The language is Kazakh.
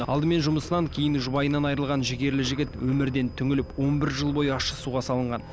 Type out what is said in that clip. алдымен жұмысынан кейін жұбайынан айырылған жігерлі жігіт өмірден түңіліп он бір жыл бойы ащы суға салынған